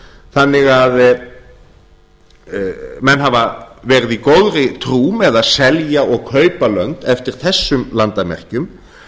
þannig að menn hafa verið í góðri trú með að selja og kaupa lönd eftir þessum landamerkjum